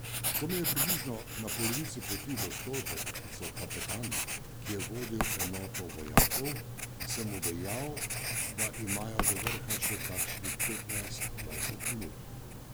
Ko me je približno na polovici poti do stolpa poklical kapetan, ki je vodil enoto vojakov, sem mu dejal, da imajo do vrha še kakšnih petnajst, dvajset minut.